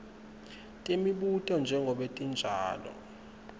temibuto njengobe tinjalo